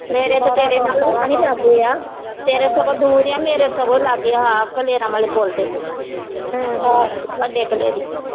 ਮੇਰੇ ਤੇ ਤੇਰੇ ਨਾਲੋਂ ਵੀ ਰਾਣੀ ਲਾਗੇ ਆ ਤੇਰੇ ਸਗੋਂ ਦੂਰ ਆ ਮੇਰੇ ਸਗੋਂ ਲਾਗੇ ਆ ਹਾਅ ਕਲੇਰਾ ਵਾਲੇ ਪੁੱਲ ਤੇ ਵੱਡੇ ਕਲੇਰੀ।